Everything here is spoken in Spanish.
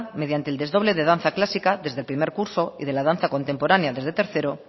mediante el desdoble de danza clásica desde el primer curso y de la danza contemporánea desde tercero